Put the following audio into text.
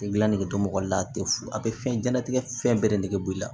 Gila nege to mɔgɔ la a te fu a be fɛnɲanatigɛ fɛn bɛɛ de b'i la